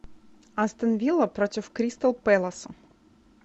астон вилла против кристал пэлас